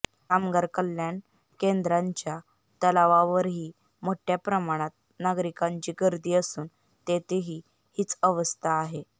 कामगार कल्याण केंद्राच्या तलावावरही मोठ्या प्रमाणात नागरिकांची गर्दी असून तेथेही हीच अवस्था आहे